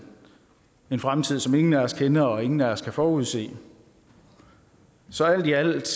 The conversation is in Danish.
en fremtid som ingen af os kender og ingen af os kan forudsige så alt i alt